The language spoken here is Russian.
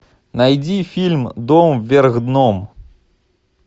найди фильм дом вверх дном